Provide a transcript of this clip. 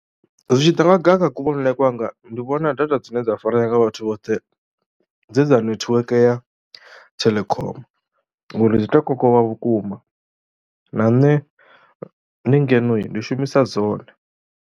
Zwi tshi ḓa nga ha kuvhonele kwanga ndi vhona data dzine dza farea nga vhathu vhoṱhe dzi dza nethiweke ya Telkom ngori dzi tou kokovha vhukuma na nṋe ndi ngeno ndi shumisa dzone.